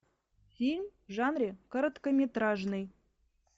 фильм в жанре короткометражный